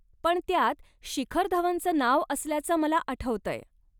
पण त्यात शिखर धवनचं नाव असल्याचं मला आठवतंय.